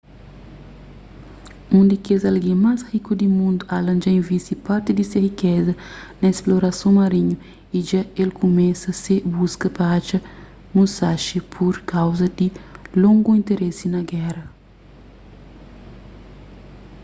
un di kes algen más riku di mundu allen dja invisti parti di se rikeza na splorason marinhu y dja el kumesa se buska pa atxa musashi pur kauza di longu interese na géra